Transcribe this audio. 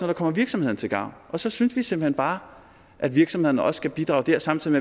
der kommer virksomhederne til gavn og så synes vi simpelt hen bare at virksomhederne også skal bidrage samtidig